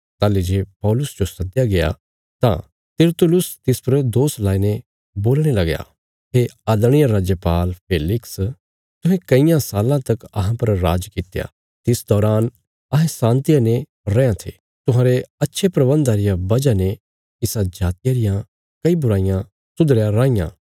ताहली जे पौलुस जो सदया गया तां तिरतुलुस तिस पर दोष लाईने बोलणे लगया हे आदरणीय राजपाल फेलिक्स तुहें कईयां साल्लां तक अहां पर राज कित्या तिस दौरान अहें शाँतिया ने रैयां थे कने तुहांरे अच्छे प्रबन्धा रिया वजह ने इसा जातिया रियां कई बुराईयां सुधरया राईयां